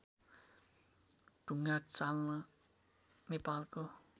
ढुङ्गाचल्ना नेपालको